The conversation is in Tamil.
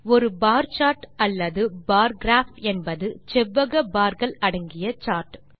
ஒரு பார் சார்ட் அல்லது பார் கிராப் என்பது செவ்வக barகள் அடங்கிய சார்ட்